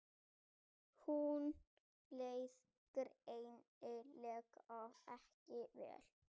Honum leið greinilega ekki vel.